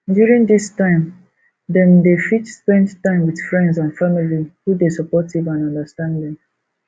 during this time dem dey fit spend time with friends and family who dey supportive and understanding